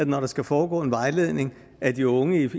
når der skal foregå en vejledning af de unge